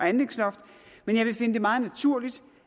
og anlægsloft men jeg vil finde det meget naturligt